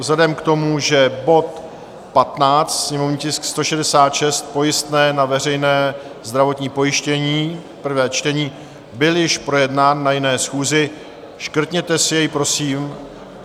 Vzhledem k tomu, že bod 15, sněmovní tisk 166, pojistné na veřejné zdravotní pojištění, prvé čtení, byl již projednán na jiné schůzi, škrtněte si jej, prosím.